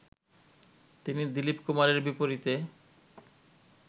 তিনি দীলিপ কুমারের বিপরীতে